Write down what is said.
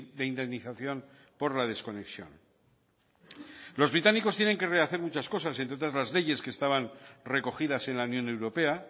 de indemnización por la desconexión los británicos tienen que rehacer muchas cosas entre otras las leyes que estaban recogidas en la unión europea